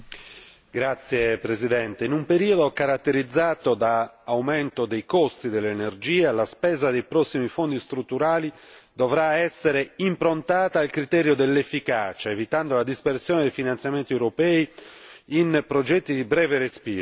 Signor Presidente, in un periodo caratterizzato dall'aumento dei costi dell'energia, la spesa dei prossimi fondi strutturali dovrà essere improntata al criterio dell'efficacia, evitando la dispersione dei finanziamenti europei in progetti di breve respiro.